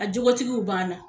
A jogotigiw b'an na.